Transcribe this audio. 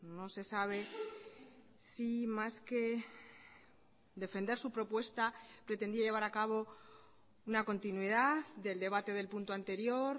no sé sabe si más que defender su propuesta pretendía llevar a cabo una continuidad del debate del punto anterior